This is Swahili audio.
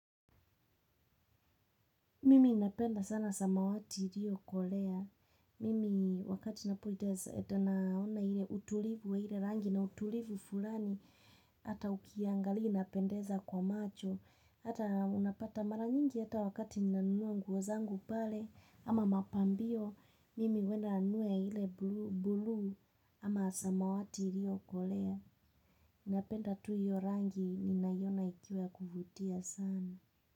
Mimi napenda sana samawati ilio kolea. Mimi wakati na pojitaza etanaona hile utulivu wa hile rangi na utulivu fulani. Hata ukiangalia inapendeza kwa macho. Hata unapata mara nyingi hata wakati ninanunua nguo zangu pale ama mapambio. Mimi huenda ninunue ile buluu ama samawati ilio kolea. Napenda tu hiyo rangi ninaiona ikiwa ya kuvutia sana.